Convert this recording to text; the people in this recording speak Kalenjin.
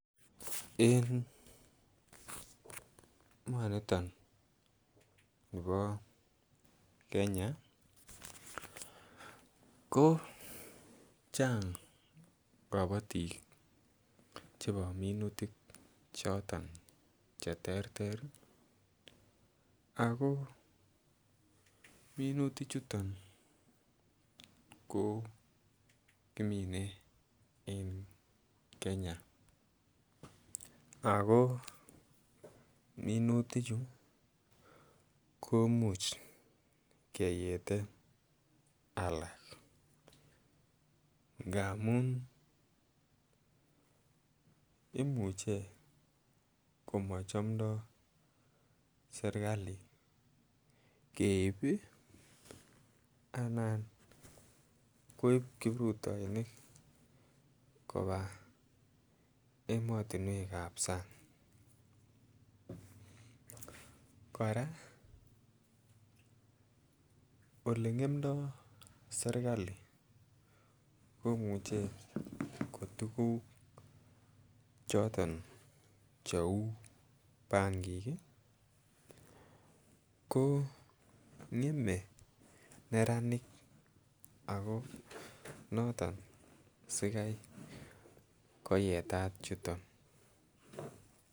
En emonito bo Kenya kochang kabatik chebo minutik choton Che terter ago minutichuton ko kimine en Kenya ago minutichu komuch keyeten alak angamun imuche ko mochomdoi serkali keib anan koib kiprutoinik koba emotinwek ab sang kora Ole ngemdoi serkali komuche ko tuguk choton cheu bangik ko ngemei neranik ako noton sikai koyetat chuton